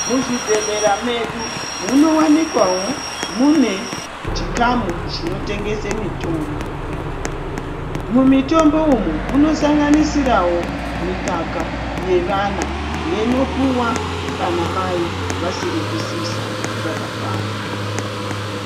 Muzvibhedhkera medu munowanikwawo mune chikamu chinotengese mitombo, mumitombo umu munosanganisirawo mikaka yevana inopuwa kana mai vasiri kusisa zvakakwana.